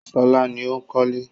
Ṣọlá ni ó ń kọ́lé.